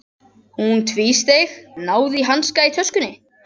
Hún tvísteig, náði í hanska í töskunni.